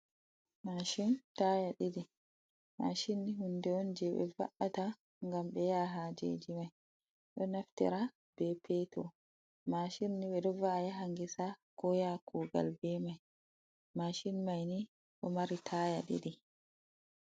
Mashin taya ɗiɗi. Mashin ni hunde on je ɓe va’ata ngam ɓe yaha hajeji mai, ɗo naftira be petur. Mashin ni ɓe ɗo va'a yaha gesa, ko yaha kugal be mai, mashin mai ni ɗo mari taaya ɗiɗi.